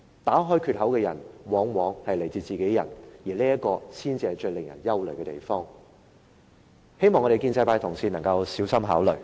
打開缺口的人往往是自己人，而這才是最令人憂慮的地方，希望建制派的同事能夠小心考慮。